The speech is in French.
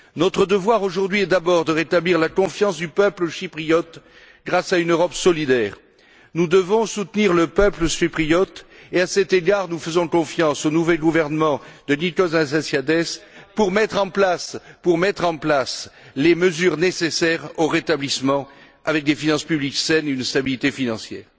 Notre devoir aujourd'hui est d'abord de rétablir la confiance du peuple chypriote grâce à une Europe solidaire. Nous devons soutenir le peuple chypriote et, à cet égard, nous faisons confiance au nouveau gouvernement de Nikos Anastasiades pour mettre en place les mesures nécessaires au rétablissement, avec des finances publiques saines et une stabilité financière.